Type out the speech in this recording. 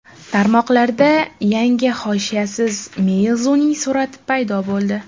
Tarmoqlarda yangi hoshiyasiz Meizu’ning surati paydo bo‘ldi.